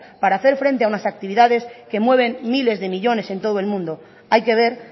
para hacer frente a unas actividades que mueven miles de millónes en todo el mundo hay que ver